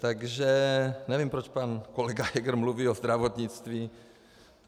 Takže nevím, proč pan kolega Heger mluví o zdravotnictví.